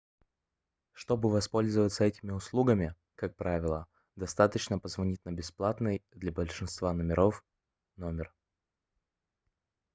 чтобы воспользоваться этими услугами как правило достаточно позвонить на бесплатный для большинства телефонов номер